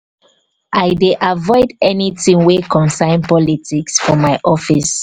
i dey avoid anytin wey concern politics for my office.